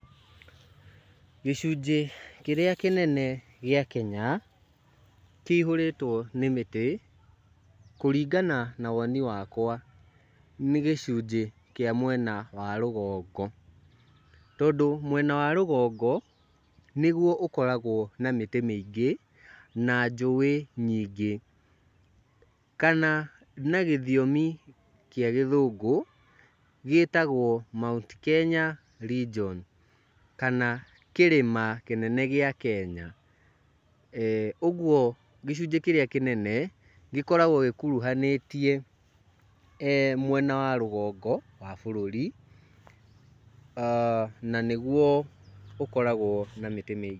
Gĩcunjĩ kĩrĩa kĩnene gĩa Kenya, kĩihũrĩtwo nĩ mĩtĩ, kũringana na woni wakwa, nĩ gĩcinjĩ kĩa mwena wa rũgongo. Tondũ mwena wa rũgũngo, nĩgwo ũkoragwo na mĩtĩ mĩingĩ, na njũwĩ nyingĩ. Kana na gĩthiomi gĩa gĩthũngũ, gĩtagwo Mount Kenya Region kana kĩrĩma kĩnene gĩa Kenya. Ũguo gĩcunjĩ kĩrĩa kĩnene gĩkoragwo gĩkuruhanĩtie mwena wa rũgongo wa bũrũri, na nĩgwo ũkoragwo na mĩtĩ mĩingĩ.